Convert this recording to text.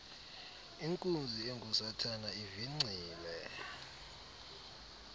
inkunzi engusathana ivingcile